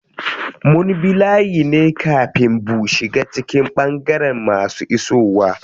Mun bi layi ne kafin bu shiga cikin ɓangaren masu isowa.